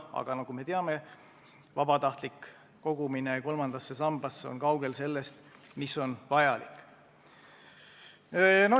Aga nagu me teame, vabatahtlik kogumine kolmandasse sambasse on kaugel sellest, mis oleks vajalik.